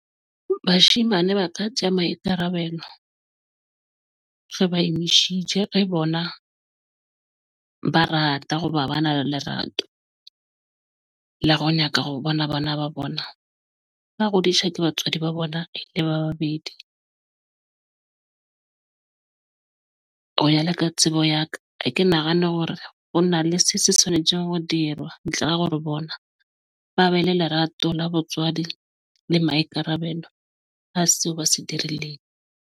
Bashemane ba ka tje maikarabelo re ba emishitse, re bona ba rata hoba ba na le lerato la ro nyaka ho bona bana ba bona ka Roundisha. Ke batswadi ba bona le babedi ng ho ya le ka tsebo ya ka? Ha ke nahane hore ho na le se se swanetjeng hore dirwa ntle re hore bona ba be le lerato la botswadi le maikarabelo ho seo ba se .